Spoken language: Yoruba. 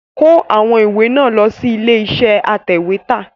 Kó àwọn ìwé náà lọ sí ilé iṣẹ́ atẹ̀wẹ́tà!